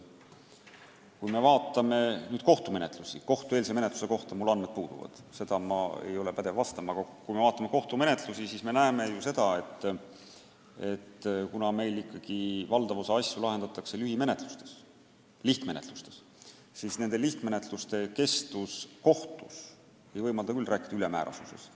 Kui me vaatame kohtumenetlusi – kohtueelse menetluse kohta mul andmed puuduvad, seda ma ei ole pädev kommenteerima –, siis me näeme, et meil ikkagi valdav osa asju lahendatakse lühimenetluste, lihtmenetluste korras ja nende kestus kohtus ei võimalda küll rääkida ülemäärasest ajakulust.